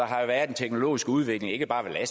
har været en teknologisk udvikling ikke bare i